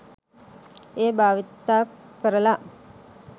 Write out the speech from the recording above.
එය භාවිත කරලා